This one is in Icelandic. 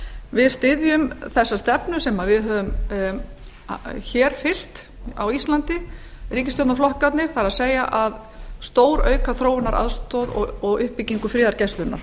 við styðjum þessa stefnu sem við höfum hér fyrst á íslandi ríkisstjórnarflokkarnir það er að stórauka þróunaraðstoð og uppbyggingu friðargæslunnar